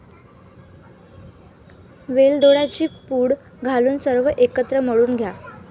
वेलदोड्यांची पूड घालून सर्व एकत्र मळून घ्या.